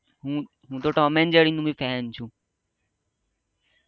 હ તો Tom and Jerry નો ફેન છું